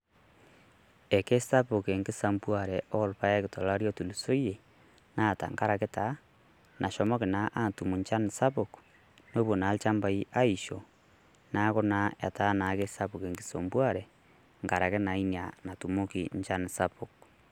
Ake sapuk engisambuare orpaek tolo lari lotulusoyie naa tengaraki taa nashomoki naa atum enchan sapuk nepuo naa ilnchampai aisho neeku naa etaa naa kesapuk ingisambuare tenkaraki naa Ina naatumoki enchan sapuk.